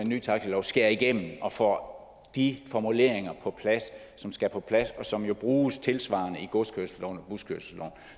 ny taxilov skærer igennem og får de formuleringer på plads som skal på plads og som jo bruges tilsvarende i godskørselsloven og buskørselsloven